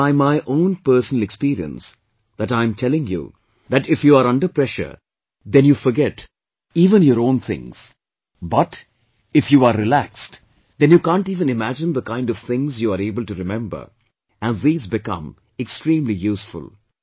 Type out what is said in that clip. And it is by my own personal experience that I'm telling you that if you're under pressure then you forget even your own things but if you are relaxed, then you can't even imagine the kind of things you are able to remember, and these become extremely useful